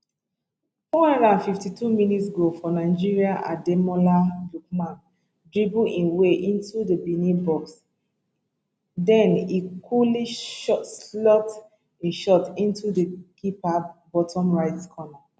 four hundred and fifty two mins goal for nigeria ademola lookman dribble im way into di benin box den e cooly shot slot e shot into di keeper bottom right corner